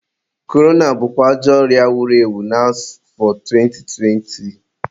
Korona bụ ajọ ọrịa wuru na afọ 2020.